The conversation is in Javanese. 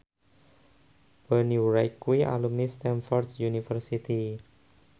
Bonnie Wright kuwi alumni Stamford University